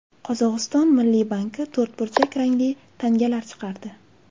Qozog‘iston milliy banki to‘rtburchak rangli tangalar chiqardi.